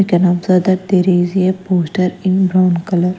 We can observe that there is a poster in brown color.